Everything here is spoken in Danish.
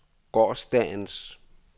gårsdagens